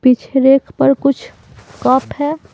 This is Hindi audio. पीछे रैक पर कुछ कप है।